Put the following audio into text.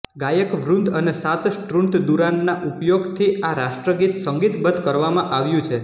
ગાયકવૃંદ અને સાત સ્ટ્રૂન્દુરાનના ઉપયોગથી આ રાષ્ટ્રગીત સંગીતબદ્ધ કરવામાં આવ્યું છે